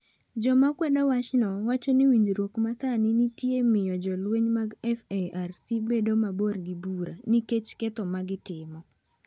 Joma kwedo wachno wacho ni winjruok ma sani nitie miyo jolweny mag FARC bedo mabor gi bura nikech ketho ma gitimo.